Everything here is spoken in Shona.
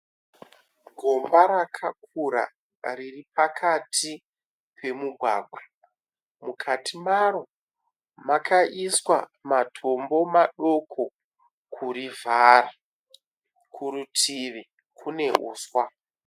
Gomba rakakura riri pakati pemugwagwa, mukati maro makaiswa matombo madoko kurivhara. Kurutivi kune huswa.